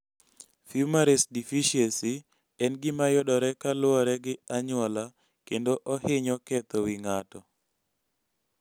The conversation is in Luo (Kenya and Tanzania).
Fumarace deficiency en gima yudore kaluore gi anyuola kendo ohinyo ketho wi ng'ato